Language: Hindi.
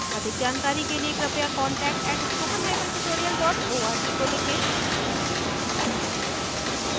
अधिक जानकारी के लिए कृपया contact @spokentutorial org को लिखें